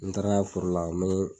N taara foro la mee